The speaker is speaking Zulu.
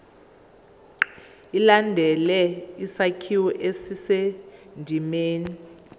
ilandele isakhiwo esisendimeni